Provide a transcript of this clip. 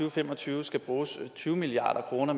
og fem og tyve skal bruges tyve milliard kroner